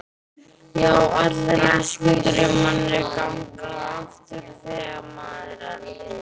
Já, allir æskudraumarnir ganga aftur þegar maður eldist.